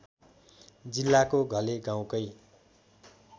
जिल्लाको घले गाउँकै